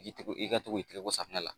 I tɛ i ka to k'i tɛgɛko safunɛ la